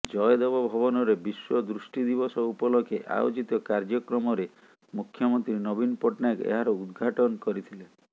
ଜୟଦେବ ଭବନରେ ବିଶ୍ୱ ଦୃଷ୍ଟି ଦିବସ ଉପଲକ୍ଷେ ଆୟୋଜିତ କାର୍ଯ୍ୟକ୍ରମରେ ମୁଖ୍ୟମନ୍ତ୍ରୀ ନବୀନ ପଟ୍ଟନାୟକ ଏହାର ଉଦଘାଟନ୍ କରିଥିଲେ